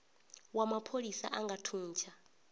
wa mapholisa a nga thuntsha